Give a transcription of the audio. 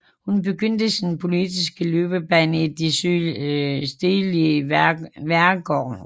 Hun begyndte sin politiske løbebane i det stedlige værgeråd